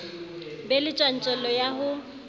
be le tjantjello ya ho